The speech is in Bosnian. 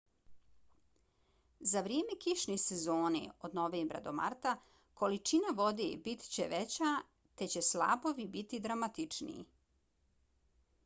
za vrijeme kišne sezone od novembra do marta količina vode bit će veća te će slapovi biti dramatičniji